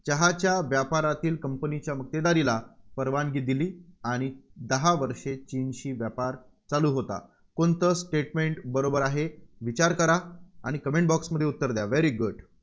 चहाच्या व्यापारातील company च्या मक्तेदारीला परवानगी दिली आणि दहा वर्षे चीनशी व्यापार चालू होता. कोणतं statement बरोबर आहे? विचार करा आणि comment box मध्ये उत्तर द्या. very good